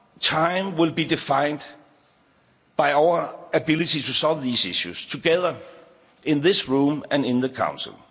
Our time will be defined by our ability to solve these issues together in this room and in the Council.